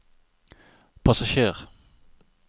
passasjer